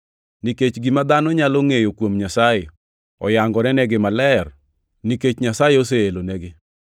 Nikech gima dhano nyalo ngʼeyo kuom Nyasaye oyangorenigi maler, nikech Nyasaye oseelenigi.